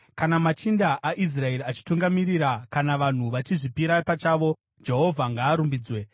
“Kana machinda aIsraeri achitungamirira, kana vanhu vachizvipira pachavo Jehovha ngaarumbidzwe!”